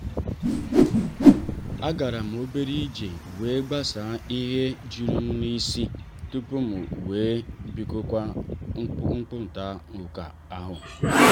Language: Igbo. a garam obere ije iji wee gbasaa ihe jụrụ m n'isi tupu m wee bidokwa mkparita ụka ahụ.